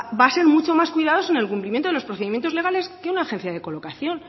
lanbide va a ser mucho más cuidadoso en el cumplimiento de los procedimientos legales que una agencia de colocación